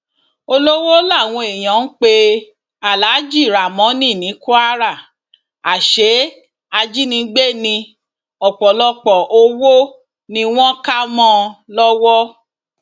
olówó làwọn èèyàn ń pe aláàjì ramónì ní kwara àṣẹ ajínigbé ní ọpọlọpọ owó ni wọn kà mọ ọn lọwọ